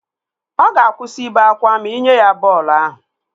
Ọ ga-akwụsị ibe akwa ma ị nye ya bọọlụ ahụ